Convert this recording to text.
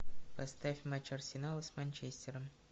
поставь матч арсенала с манчестером